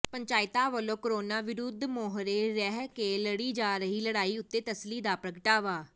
ਪੰਚਾਇਤਾਂ ਵਲੋਂ ਕਰੋਨਾ ਵਿਰੁੱਧ ਮੂਹਰੇ ਰਹਿ ਕੇ ਲੜੀ ਜਾ ਰਹੀ ਲੜਾਈ ਉੱਤੇ ਤਸੱਲੀ ਦਾ ਪ੍ਰਗਟਾਵਾ